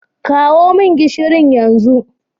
Kawo min gishirin yanzu.